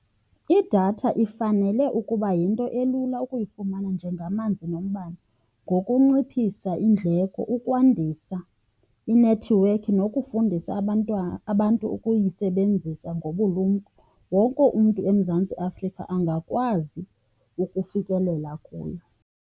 Idatha ifanele ukuba yinto elula ukuyifumana njengamanzi nombane. Ngokunciphisa iindleko, ukwandisa inethiwekhi, nokufundisa abantu ukuyisebenzisa ngobulumko, wonke umntu eMzantsi Afrika angakwazi ukufikelela kuyo.